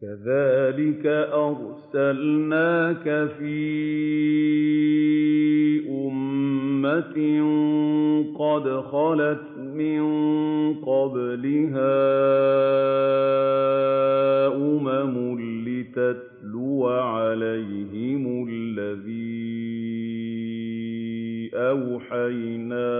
كَذَٰلِكَ أَرْسَلْنَاكَ فِي أُمَّةٍ قَدْ خَلَتْ مِن قَبْلِهَا أُمَمٌ لِّتَتْلُوَ عَلَيْهِمُ الَّذِي أَوْحَيْنَا